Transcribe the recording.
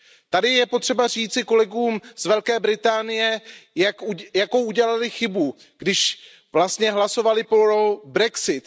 Tady je potřeba říci kolegům z Velké Británie, jakou udělali chybu, když vlastně hlasovali pro brexit.